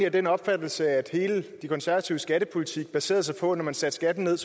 af den opfattelse at hele de konservatives skattepolitik baserede sig på at når man satte skatten ned